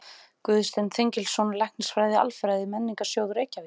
Guðsteinn Þengilsson, Læknisfræði-Alfræði Menningarsjóðs, Reykjavík